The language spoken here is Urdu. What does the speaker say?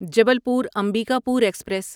جبلپور امبیکاپور ایکسپریس